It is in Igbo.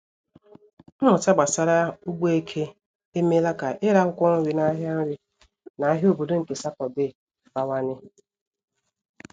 Mmụta gbasara ugbo eke emeela ka ire akwụkwọ nri na ahịa nri na ahịa obodo nke Sátọdee bawanye.